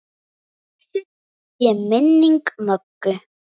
Blessuð sé minning Möggu.